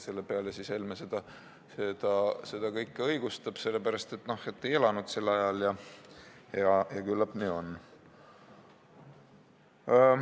Helme seda kõike õigustab, sest ei elanud sellel ajal, ja küllap nii on.